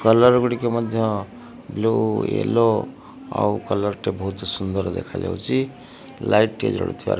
Colour ଗୁଡ଼ିକ ମଧ୍ୟ blue yellow ଆଉ କଲର୍ ଟେ ବହୁତ ସୁନ୍ଦର୍ ଦେଖାଯାଉଛି। ଲାଇଟ ଟିଏ ଜଳୁଥିବାର --